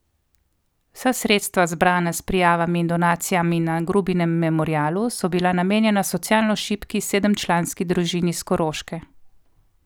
Vsa sredstva zbrana s prijavami in donacijami na Grubinem memorialu so bila namenjena socialno šibki sedemčlanski družini s Koroške.